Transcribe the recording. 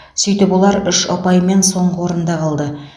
сөйтіп олар үш ұпаймен соңғы орында қалды